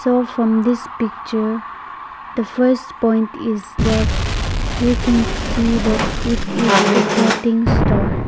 so from this picture the first point is that we can see that it is a clothing store.